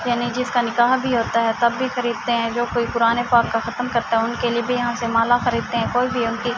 یانی جسکا نکاح بھی ہوتا ہے تب بھی خریدتے ہے۔ جو کوئی قرآن-ے پاک ختم کرتا ہے انکے لئے بھی یہاں سے ملا خریدتے ہے۔